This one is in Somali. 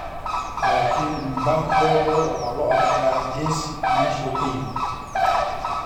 Laakiin Mbah Gotho waxaa loo arkaa geesi meesha uu ka yimid.